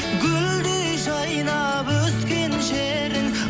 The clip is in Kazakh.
гүлдей жайнап өскен жерің